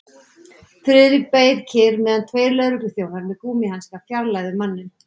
Friðrik beið kyrr meðan tveir lögregluþjónar með gúmmíhanska fjarlægðu manninn.